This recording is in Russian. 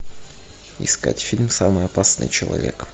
искать фильм самый опасный человек